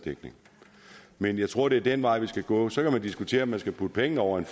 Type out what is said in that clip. dækning men jeg tror det er den vej vi skal gå så kan man diskutere om man skal putte pengene over i